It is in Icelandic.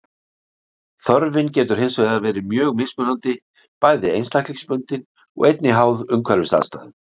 Þörfin getur hins vegar verið mjög mismunandi, bæði einstaklingsbundin og einnig háð umhverfisaðstæðum.